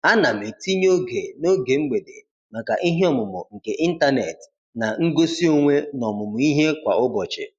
Ana m etinye oge n'oge mgbede maka ihe ọmụmụ nke ịntanet na ngosi onwe n'ọmụmụ ihe kwa ụbọchị.